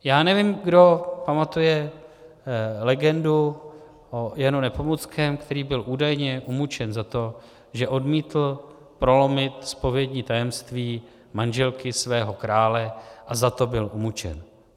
Já nevím, kdo pamatuje legendu o Janu Nepomuckém, který byl údajně umučen za to, že odmítl prolomit zpovědní tajemství manželky svého krále, a za to byl umučen.